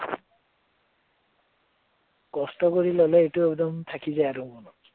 কষ্ট কৰি ললে এইটো থাকি যায় আৰু মনত